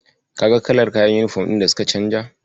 Kaga kalar kayan yunifom din da suka canja?